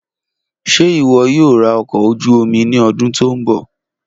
Ṣe iwọ yoo ra ọkọ̀ ojuú omi ni ọdun to nbọ?